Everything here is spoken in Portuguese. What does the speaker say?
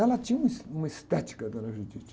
Ela tinha uma es, uma estética, a dona.